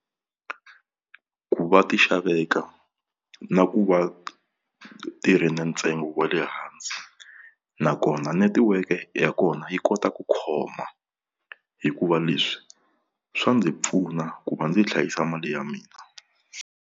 Ku va ti xaveka na ku va ti ri na ntsengo wa le hansi nakona netiweke ya kona yi kota ku khoma hikuva leswi swa ndzi pfuna ku va ndzi hlayisa mali ya mina.